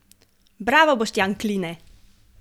Bravo Boštjan Kline!